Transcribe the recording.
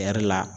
A yɛrɛ la